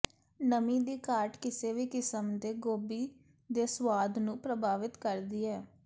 ਨਮੀ ਦੀ ਘਾਟ ਕਿਸੇ ਵੀ ਕਿਸਮ ਦੇ ਗੋਭੀ ਦੇ ਸੁਆਦ ਨੂੰ ਪ੍ਰਭਾਵਿਤ ਕਰਦੀ ਹੈ